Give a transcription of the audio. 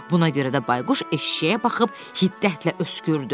Buna görə də Bayquş eşşəyə baxıb hiddətlə öskürdü.